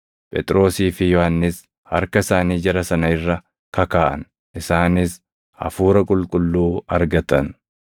Phexrosii fi Yohannis harka isaanii jara sana irra kakaaʼan; isaanis Hafuura Qulqulluu argatan.